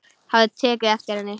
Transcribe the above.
Hafði tekið eftir henni.